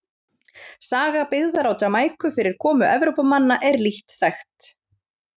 Saga byggðar á Jamaíku fyrir komu Evrópumanna er lítt þekkt.